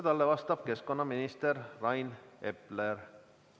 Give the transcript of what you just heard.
Talle vastab keskkonnaminister Rain Epler.